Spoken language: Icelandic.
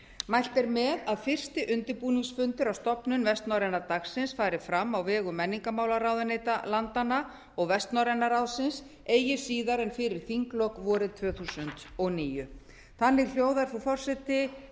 mælt er með að fyrsti undirbúningsfundur að stofnun vestnorræns dagsins fari fram á vegum menningarmálaráðuneyta landanna og vestnorræna ráðsins eigi síðar en fyrir þinglok vorið tvö þúsund og níu þannig hljóðar frú